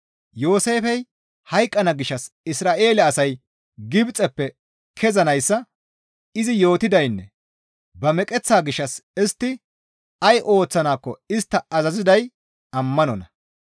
Yooseefey hayqqana gishshas Isra7eele asay Gibxeppe kezanayssa izi yootidaynne ba meqeththaa gishshas istti ay ooththanaakko istta azaziday ammanonna.